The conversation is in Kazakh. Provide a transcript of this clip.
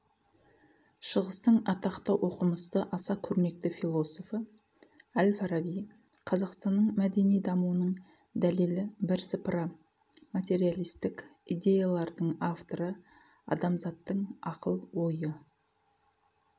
шығыстың атақты оқымысты аса көрнекті философы әл-фараби қазақстанның мәдени дамуының дәлелі бірсыпыра материалистік идеялардың авторы адамзаттың ақыл-ойы